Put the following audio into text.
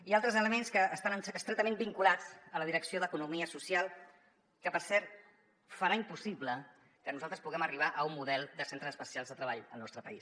i altres elements que estan estretament vinculats a la direcció d’economia social que per cert farà impossible que nosaltres puguem arribar a un model de centres especials de treball al nostre país